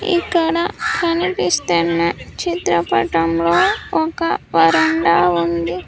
ఇక్కడ కనిపిస్తున్నచిత్రపటంలో ఒక వరండా ఉంది.